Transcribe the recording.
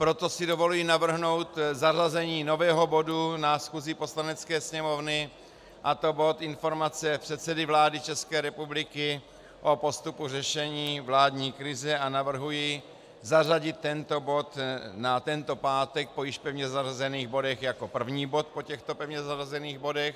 Proto si dovoluji navrhnout zařazení nového bodu na schůzi Poslanecké sněmovny, a to bod Informace předsedy vlády České republiky o postupu řešení vládní krize, a navrhuji zařadit tento bod na tento pátek po již pevně zařazených bodech jako první bod po těchto pevně zařazených bodech.